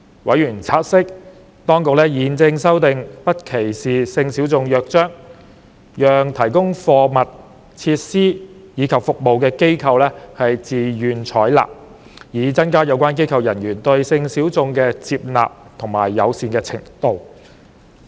委員察悉，當局現正制訂《不歧視性小眾約章》，讓提供貨品、設施及服務的機構自願採納，以增加有關機構人員對性小眾的接納和友善程度。